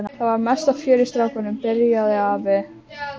Það var mesta fjör í stráknum. byrjaði afi.